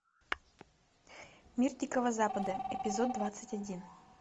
мир дикого запада эпизод двадцать один